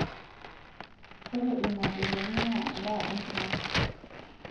ore ilmapeepeni naa endaa enkiteng